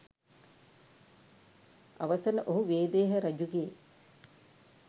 අවසන ඔහු වේදේහ රජුගේ